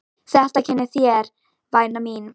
Þetta kennir þér væna mín!!!!!